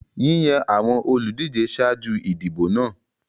Yíyàn àwọn olùdíje ṣáájú ìdìbò náà.